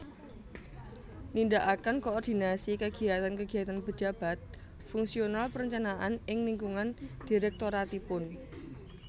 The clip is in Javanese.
Nindakaken koordinasi kegiyatan kegiyatan pejabat fungsional perencanaan ing lingkungan direktoratipun